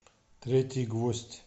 третий гвоздь